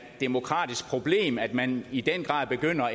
demokratisk problem at man i den grad begynder